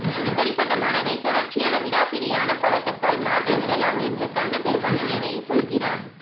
இப்படி பட்ட மனதை தொடர்ச்சியான விடாப்பிடியான பழக்கத்தால் மாற்றி விடலாம் என்று கண்ண பெருமான் கீதையில் சொல்கிறான்